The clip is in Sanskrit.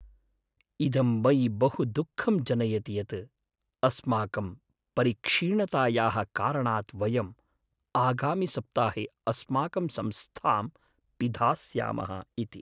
इदं मयि बहु दुःखं जनयति यत् अस्माकं परिक्षीणतायाः कारणात् वयम् आगामिसप्ताहे अस्माकं संस्थां पिधास्यामः इति।